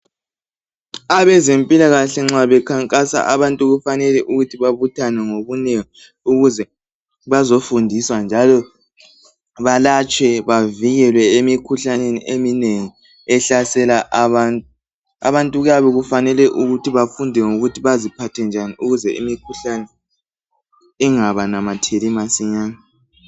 Abezempilakahle nxa bekhankasa abantu kufanele ukuthi babuthane ngobunengi ukuze bazofundiswa njalo balatshwe bavikelwe emikhuhlaneni eminengi ehlasela abantu. Abantu kuyabe kufanele ukuthi bafunde ngokuthi bazi phathe njani ukuze imikhuhlane ingabanamatheli masinyane.